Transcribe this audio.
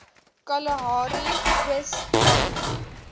kalahari oos pyplyn